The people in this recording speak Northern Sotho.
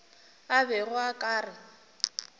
a bego a ka re